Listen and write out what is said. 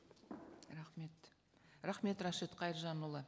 рахмет рахмет рашид қайыржанұлы